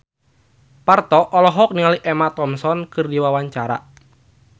Parto olohok ningali Emma Thompson keur diwawancara